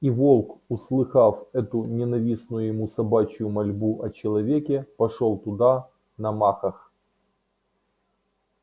и волк услыхав эту ненавистную ему собачью мольбу о человеке пошёл туда на махах